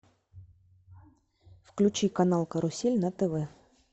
включи канал карусель на тв